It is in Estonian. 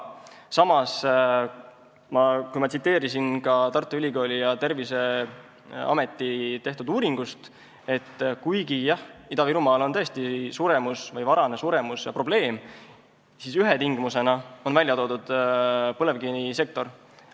Samas, ma tsiteerisin Tartu Ülikooli ja Terviseameti uuringut, et Ida-Virumaal on tõesti suremus või varane suremus probleem ja ühe põhjusena on välja toodud põlevkivisektorit.